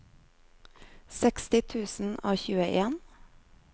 seksti tusen og tjueen